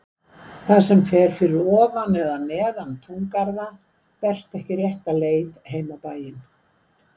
Það sem fer fyrir ofan eða neðan túngarða berst ekki rétta leið heim á bæinn.